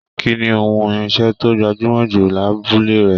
Kínní ohùn irinṣẹ to gbajumọ jù l'abule rẹ?